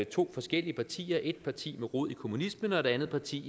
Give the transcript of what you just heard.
to forskellige partier et parti med rod i kommunismen og et andet parti